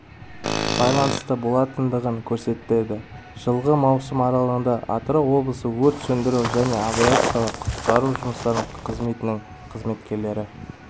байланысты болатындығын көрсетеді жылғы маусым аралығында атырау облысы өрт сөндіру және авариялық-құтқару жұмыстары қызметінің қызметкерлері